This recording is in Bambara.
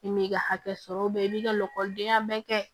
I m'i ka hakɛ sɔrɔ i b'i ka lakɔlidenya bɛɛ kɛ